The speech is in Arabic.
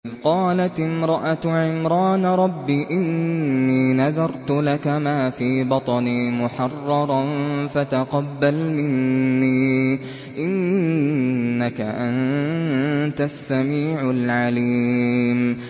إِذْ قَالَتِ امْرَأَتُ عِمْرَانَ رَبِّ إِنِّي نَذَرْتُ لَكَ مَا فِي بَطْنِي مُحَرَّرًا فَتَقَبَّلْ مِنِّي ۖ إِنَّكَ أَنتَ السَّمِيعُ الْعَلِيمُ